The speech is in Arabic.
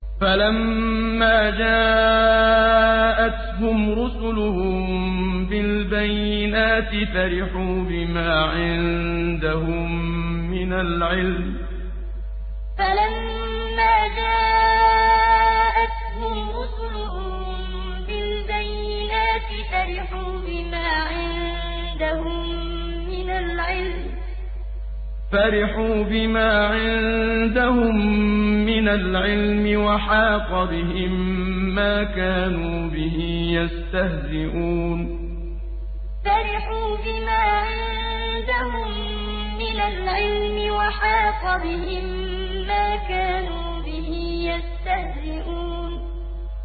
فَلَمَّا جَاءَتْهُمْ رُسُلُهُم بِالْبَيِّنَاتِ فَرِحُوا بِمَا عِندَهُم مِّنَ الْعِلْمِ وَحَاقَ بِهِم مَّا كَانُوا بِهِ يَسْتَهْزِئُونَ فَلَمَّا جَاءَتْهُمْ رُسُلُهُم بِالْبَيِّنَاتِ فَرِحُوا بِمَا عِندَهُم مِّنَ الْعِلْمِ وَحَاقَ بِهِم مَّا كَانُوا بِهِ يَسْتَهْزِئُونَ